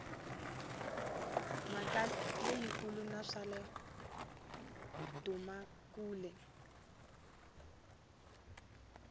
mhaka leyikulu na kwala dumakule